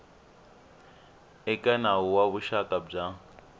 eka nawu wa vuxaka bya